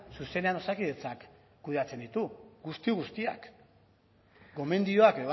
zuzenean osakidetzak kudeatzen ditu guzti guztiak gomendioak